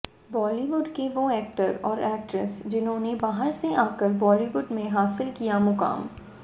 बॉलीवुड के वो एक्टर और एक्ट्रेस जिन्होंने बाहर से आकर बॉलीवुड में हासिल किया मुकाम